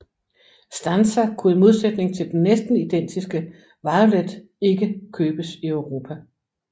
Stanza kunne i modsætning til den næsten identiske Violet ikke købes i Europa